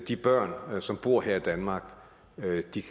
de børn som bor her i danmark